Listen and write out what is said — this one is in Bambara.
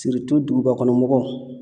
dugubakɔnɔ mɔgɔw